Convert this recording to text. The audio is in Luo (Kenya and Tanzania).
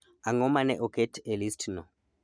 Ang'o ma ne oket e listno